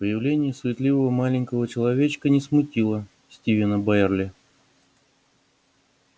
появление суетливого маленького человечка не смутило стивена байерли